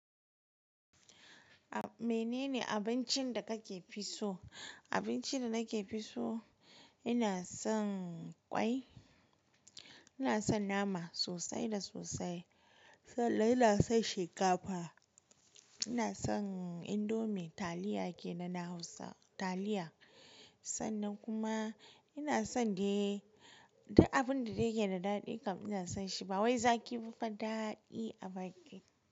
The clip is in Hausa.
Menene abincin da kake fi so? Abincin da nake fi so, ina son ƙwai, ina son nama sosai da sosai, sannan ina son shinkafa, ina son indomi taliya ke na na Hausa taliya sannan kuma ina son dai duk abin da take da daɗi kam ina son shi. Bawai zaki ba fa daɗi a baki.